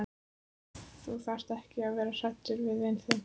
Þú þarft ekki að vera hræddur við vin þinn.